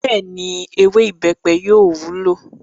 Bẹ́ẹ̀ni, “ewé ìbẹ́pẹ” yóò wúlò.